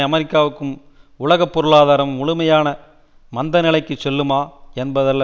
அமெரிக்காவும் உலக பொருளாதாரமும் முழுமையான மந்த நிலைக்கு செல்லுமா என்பதல்ல